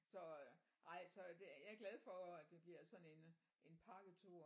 Så øh nej så det jeg er glad for at det bliver sådan en en pakketur